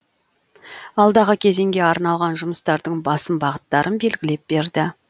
алдағы кезеңге арналған жұмыстардың басым бағыттарын белгілеп берді